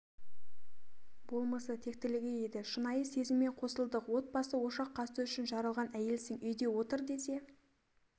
болмысы тектілігі еді шынайы сезіммен қосылдық отбасы ошақ қасы үшін жаралған әйелсің үйде отыр десе